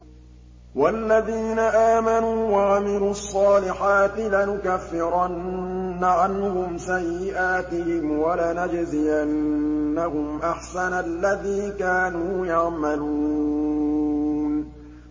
وَالَّذِينَ آمَنُوا وَعَمِلُوا الصَّالِحَاتِ لَنُكَفِّرَنَّ عَنْهُمْ سَيِّئَاتِهِمْ وَلَنَجْزِيَنَّهُمْ أَحْسَنَ الَّذِي كَانُوا يَعْمَلُونَ